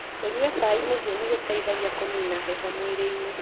Kũnyua cai mũhiũ nĩ gũteithagia kũnina heho mwĩrĩinĩ.